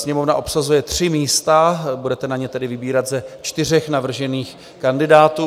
Sněmovna obsazuje tři místa, budete na ně tedy vybírat ze čtyř navržených kandidátů.